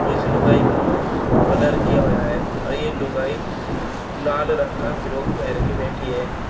इस लुगाई का मुंह ब्लर किया हुआ हैं और ये लुगाई ल लाल रंग का फिरॉक पेहन के बैठी हैं।